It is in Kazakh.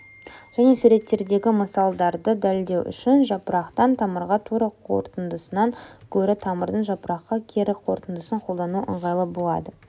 және суреттердегі мысалдарды дәлелдеу үшін жапырақтан тамырға тура қорытындысынан гөрі тамырдан жапыраққа кері қорытындысын қолдану ыңғайлы болады